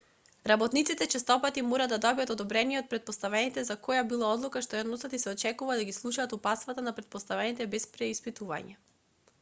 работниците честопати мора да добијат одобрение од претпоставените за која било одлука што ја носат и се очекува да ги слушаат упатствата на претпоставените без преиспитување